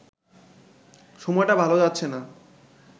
সময়টা ভালো যাচ্ছে না